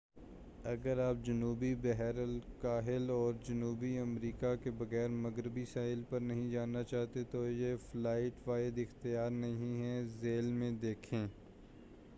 اگر آپ جنوبی بحر الکاہل اور جنوبی امریکہ کے مغربی ساحل پر نہیں جانا چاہتے تو یہ فلائٹ واحد اختیار نہیں ہے۔ ذیل میں دیکھیں